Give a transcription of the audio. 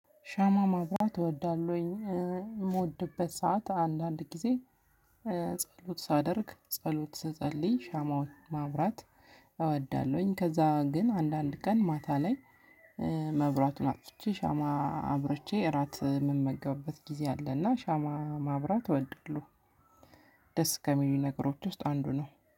ሻማ ማብራት እወዳለሁኝ ምወድበት ሰዓት አንዳንድ ግዜ ጸሎት ሳደርግ ጸሎት ስጸልይ ሻማው ማብራት እወዳለሁኝ ከዛ ግን አንዳንድ ቀን ማታ ላይ። መብራቱን አጥፍቼ ሻማ አብርቼ እራት የምመገብበት ጊዜ አለና ሻማ ማብራት እወዳለሁ። ደስ ከሚሉ ነገሮች ውስጥ አንዱ ነው።